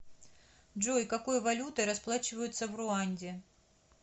джой какой валютой расплачиваются в руанде